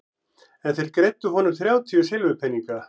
En þeir greiddu honum þrjátíu silfurpeninga.